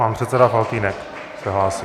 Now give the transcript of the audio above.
Pan předseda Faltýnek se hlásí.